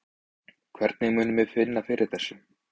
Hvernig munum við finna fyrir þessu?